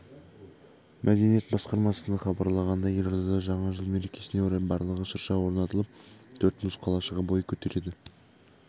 мәдениет басқармасыхабарлағандай елордада жаңа жыл мерекесіне орай барлығы шырша орнатылып төрт мұз қалашығы бой көтереді